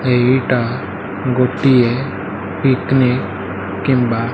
ଏଇଟା ଗୋଟିଏ ପିକନିକ କିମ୍ବା --